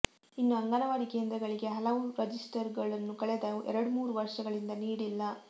ಇನ್ನು ಅಂಗನವಾಡಿ ಕೇಂದ್ರಗಳಿಗೆ ಹಲವು ರಜಿಸ್ಟರ್ಗಳನ್ನು ಕಳೆದ ಎರಡ್ಮೂರು ವರ್ಷಗಳಿಂದ ನೀಡಿಲ್ಲ